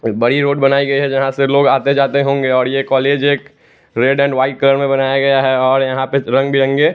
वही रोड बनाई गई है यहां से लोग आते जाते होंगे और ये कॉलेज एक रेड एंड व्हाइट कलर में बनाया गया है और यहां पे रंग बिरंगे--